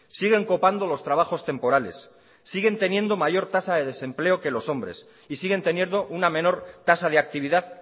siguen copando los trabajos temporales siguen teniendo mayor tasa de desempleo que los hombres y siguen teniendo una menor tasa de actividad